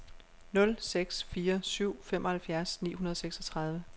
nul seks fire syv femoghalvfjerds ni hundrede og seksogtredive